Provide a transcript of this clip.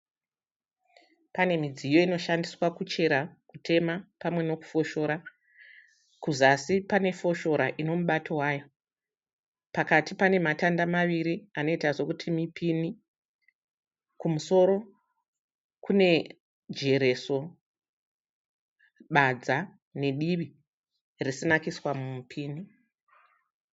Pane midziyo inoshandiswa kuchera, kutema pamwe nekufoshora. Kuzasi pane foshora ine mubato wayo, pakati pane matanda maviri anoita sekuti mipini. Kumusoro kune jereso, badza nedivi risina kuiswa mupini.